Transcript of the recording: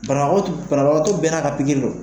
Banakɔ tu banabagatɔ bɛɛ n'a ka bigiri lo